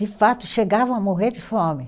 De fato, chegavam a morrer de fome.